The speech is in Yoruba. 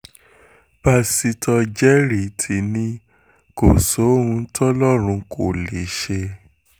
pásítọ̀ jerry ti ní kò sóhun tọlọ́run kò lè ṣe